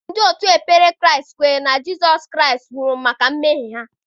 Ndị òtù ekpere Kraịst kwere na Jizọs Kraịst nwụrụ maka mmehie ha.